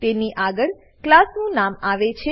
તેની આગળ ક્લાસ નું નામ આવે છે